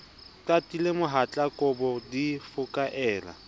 qatile mohatla kobo di fokaela